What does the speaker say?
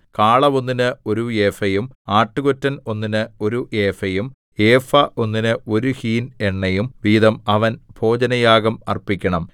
കാള ഒന്നിന് ഒരു ഏഫയും ആട്ടുകൊറ്റൻ ഒന്നിന് ഒരു ഏഫയും ഏഫ ഒന്നിന് ഒരു ഹീൻ എണ്ണയും വീതം അവൻ ഭോജനയാഗം അർപ്പിക്കണം